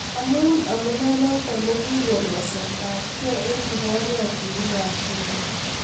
amui amunep notok kokikon waset ab gei eng kiporyotinik ab bunge